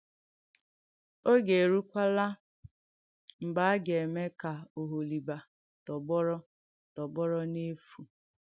Ọ̀gè èrùwèkwàlà mgbe a ga-eme ka Oholìbà tọ̀gbọrọ̀ tọ̀gbọrọ̀ n’èfù.